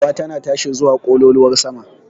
Shirwa tana tashi zuwa ƙololuwar sama.